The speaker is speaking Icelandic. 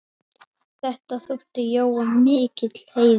Þetta þótti Jóa mikill heiður.